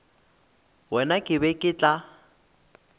wena ke be ke tla